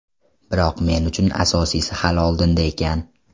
Biroq men uchun asosiysi hali oldinda ekan.